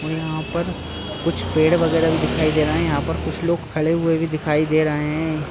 और यहाँ पर कुछ पेड़ वगैरा भी दिखाई दे रहे हैं यहाँ पर कुछ लोग खड़े हुए भी दिखाई दे रहे हैं।